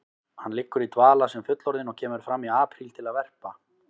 Hann liggur í dvala sem fullorðinn og kemur fram í apríl til að verpa.